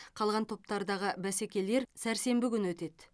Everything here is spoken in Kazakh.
қалған топтардағы бәсекелер сәрсенбі күні өтеді